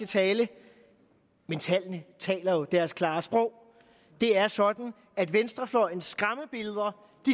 tallene taler jo deres klare sprog det er sådan at venstrefløjens skræmmebilleder